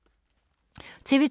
TV 2